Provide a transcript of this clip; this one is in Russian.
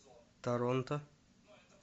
торонто